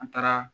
An taara